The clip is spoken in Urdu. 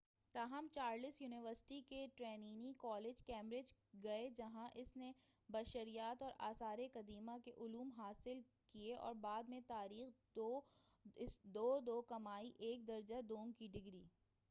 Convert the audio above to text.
تاہم چارلس یونیورسٹی کے ٹرینیٹی کالج، کیمبرج، گئے جہاں اس نے بشریات اور آثار قدیمہ کے علوم حاصل کئے اور بعد میں تاریخ، 2:2 کمائی ایک درجہ دوم کی ڈگری۔